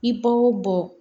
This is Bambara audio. I b'o bɔ